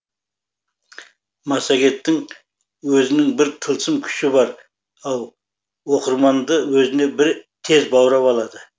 массагеттің өзінің бір тылсым күші бар ау оқырманды өзіне тез баурап алады